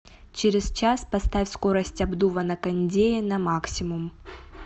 через час поставь скорость обдува на кондее на максимум